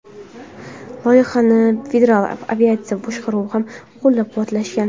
Loyihani Federal aviatsiya boshqaruvi ham qo‘llab-quvvatlagan.